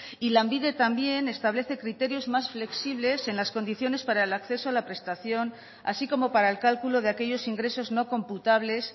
y lanbide también establece criterios más flexibles en las condiciones para el acceso a la prestación así como para el cálculo de aquellos ingresos no computables